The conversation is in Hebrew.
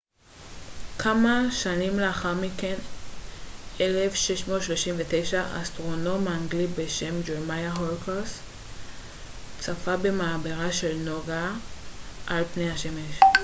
כמה שנים לאחר מכן ב-1639 אסטרונום אנגלי בשם ג'רמיה הורוקס צפה במעברה של נוגה על פני השמש